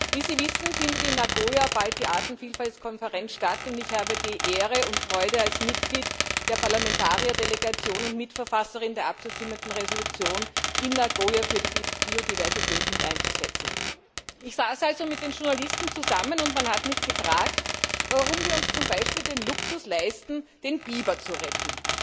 Wie Sie wissen, findet in Nagoya bald die Artenvielfaltkonferenz statt, und ich habe die Ehre und Freude, mich als Mitglied der Parlamentarierdelegation und als Mitverfasserin der abzustimmenden Entschließung in Nagoya für die Biodiversität einzusetzen. Ich saß also mit den Journalisten zusammen, und man hat mich gefragt, warum wir uns zum Beispiel den Luxus leisten, den Biber zu retten.